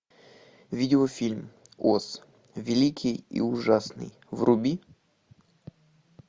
видеофильм оз великий и ужасный вруби